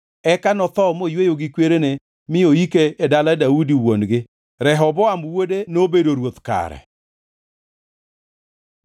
Eka notho moyweyo gi kwerene mi noyike e dala Daudi wuon-gi. Rehoboam wuode nobedo ruoth kare.